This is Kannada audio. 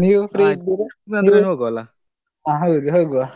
ಹಾ ಹೋಗುವಾ ನೀವು free ಇದ್ದೀರಾ? ಹಾ ಹೌದು ಹೋಗುವಾ.